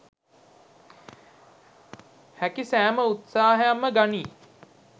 හැකි සෑම උත්සාහයක්ම ගනී